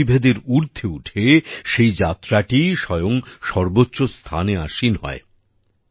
সমস্ত বিভেদের ঊর্ধ্বে উঠে সেই যাত্রাটিই স্বয়ং সর্বোচ্চ স্থানে আসীন হয়